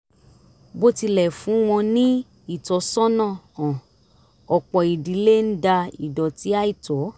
bó tilẹ̀ fún wọn ní ìtọ́sọ́nà hàn ọ̀pọ̀ ìdílé ń da ìdọ̀tí àìtọ́